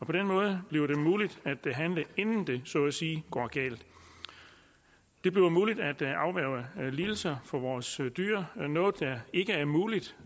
på den måde bliver det muligt at handle inden det så at sige går galt det bliver muligt at afværge lidelser for vores dyr noget der ikke er muligt